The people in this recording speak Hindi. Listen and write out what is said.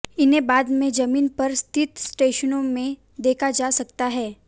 इन्हें बाद में जमीन पर स्थित स्टेशनों में देखा जा सकता है